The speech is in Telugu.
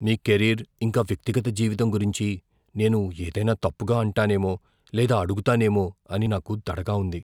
మీ కెరీర్, ఇంకా వ్యక్తిగత జీవితం గురించి నేను ఏదైనా తప్పుగా అంటానేమో లేదా అడగుతానేమో అని నాకు దడగా ఉంది.